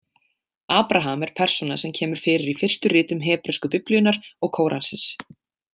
Abraham er persóna sem kemur fyrir í fyrstu ritum hebresku biblíunnar og kóransins.